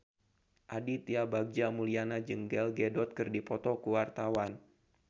Aditya Bagja Mulyana jeung Gal Gadot keur dipoto ku wartawan